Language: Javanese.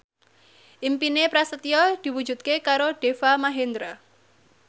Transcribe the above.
impine Prasetyo diwujudke karo Deva Mahendra